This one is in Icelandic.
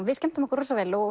við skemmtum okkur rosa vel